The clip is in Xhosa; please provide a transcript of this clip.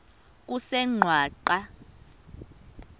kusengwaqa